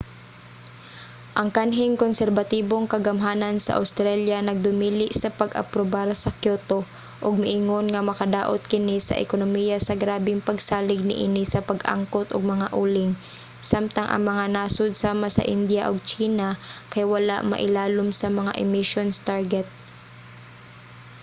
ang kanhing konserbatibong kagamhanan sa awstralya nagdumili sa pag-aprobar sa kyoto ug miingon nga makadaot kini sa ekonomiya sa grabeng pagsalig niini sa pag-angkot og mga uling samtang ang mga nasod sama sa indiya ug tsina kay wala mailalom sa mga emissions target